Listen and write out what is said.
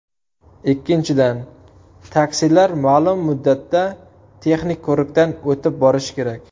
Ikkinchidan, taksilar ma’lum muddatda texnik ko‘rikdan o‘tib borishi kerak.